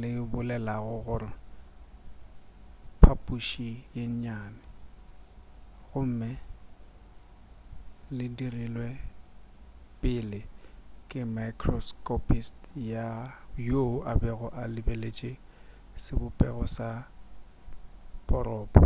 le bolelago gore phaphuši ye nnyane gomme le dirilwe pele ke microscopist yo a bego a lebeletše sebopego sa poropo